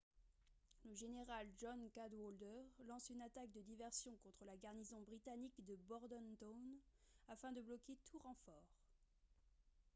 le général john cadwalder lance une attaque de diversion contre la garnison britannique de bordentown afin de bloquer tout renfort